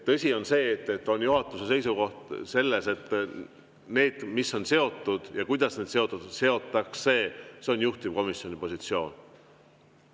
Tõsi on see, et juhatuse seisukoht on, et see, mis on seotud ja kuidas need seotakse, on juhtivkomisjoni.